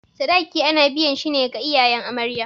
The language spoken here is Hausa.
Sadaki ana biyan shi ne ga iyayen amarya.